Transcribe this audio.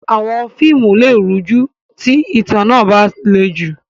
Àwọn fíìmù lè rújú tí ìtàn náà bá le jù.